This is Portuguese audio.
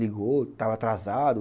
Ligou, estava atrasado.